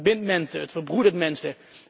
Het verbindt mensen, het verbroedert mensen.